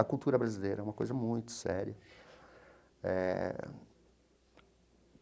A cultura brasileira é uma coisa muito séria eh.